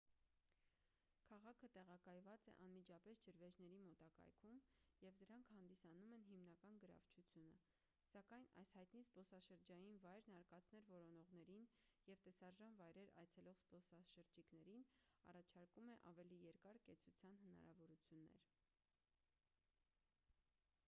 քաղաքը տեղակայված է անմիջապես ջրվեժների մոտակայքում և դրանք հանդիսանում են հիմնական գրավչությունը սակայն այս հայտնի զբոսաշրջային վայրն արկածներ որոնողներին և տեսարժան վայրեր այցելող զբոսաշրջիկներին առաջարկում է ավելի երկար կեցության հնարավորություններ